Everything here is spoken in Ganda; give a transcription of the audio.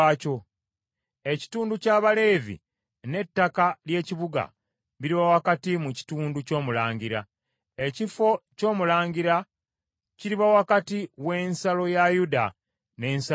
Ekitundu ky’Abaleevi n’ettaka ly’ekibuga biriba wakati mu kitundu ky’omulangira. Ekifo ky’omulangira kiriba wakati w’ensalo ya Yuda n’ensalo ya Benyamini.